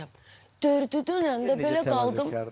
Dördü dönəndə belə qaldım.